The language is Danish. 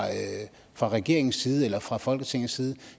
fra regeringens side eller fra folketingets side